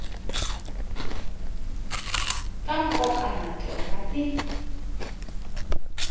ta nkoka na tona ti